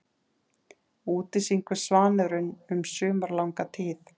Úti syngur svanurinn um sumarlanga tíð.